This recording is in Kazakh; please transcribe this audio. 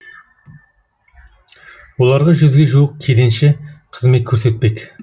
оларға жүзге жуық кеденші қызмет көрсетпек